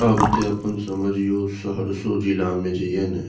आब ते अपन समझियो सहरसो जिला में जे या ने --